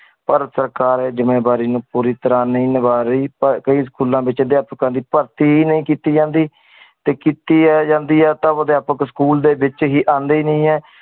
ਪਰ ਸਰਕਾਰ ਇਹ ਜਿੰਮੇਵਾਰੀ ਨੂੰ ਪੂਰੀ ਤਰਹ ਨੀ ਨਿਬਾਹ ਰਹੀ ਪਰ ਕਈ ਸਕੂਲਾਂ ਵਿਚ ਅਧਿਆਪਕ ਦੀ ਭਰਤੀ ਹੀ ਨਹੀਂ ਕੀਤੀ ਜਾਂਦੀ। ਤੇ ਕੀਤੀ ਆ ਜਾਂਦੀ ਹੈ ਤਾ ਅਧਿਆਪਕ ਸਕੂਲ ਦੇ ਵਿਚ ਆਂਦੇ ਹੀ ਨਹੀਂ ਹੈ।